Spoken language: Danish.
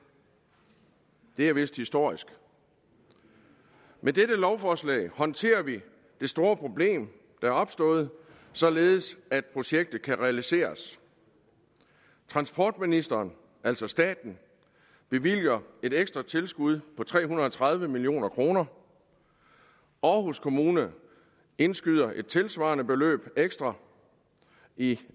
det er vist historisk med dette lovforslag håndterer vi det store problem der er opstået således at projektet kan realiseres transportministeren altså staten bevilger et ekstra tilskud på tre hundrede og tredive million kroner aarhus kommune indskyder et tilsvarende beløb ekstra i